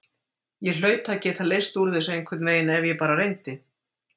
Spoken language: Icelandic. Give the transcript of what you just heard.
Ég hlaut að geta leyst úr þessu einhvern veginn ef ég bara reyndi.